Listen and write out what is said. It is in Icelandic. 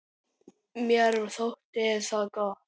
Mér þótti það gott.